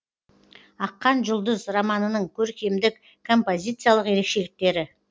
аққан жұлдыз романының көркемдік композициялық ерекшеліктері